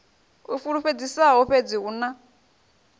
a fulufhedzisaho fhedzi hu na